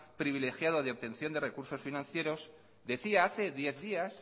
privilegiado de obtención de recursos financieros decía hace diez días